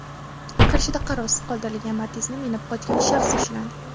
Qarshida qarovsiz qoldirilgan Matiz’ni minib qochgan shaxs ushlandi.